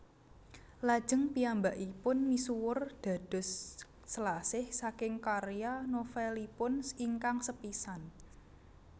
Lajeng piyambakipun misuwur dados Selasih saking karya novelipun ingkang sepisan